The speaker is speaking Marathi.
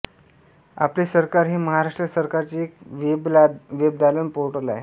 आपले सरकार हे महाराष्ट्र सरकारचे एक वेबदालन पोर्टल आहे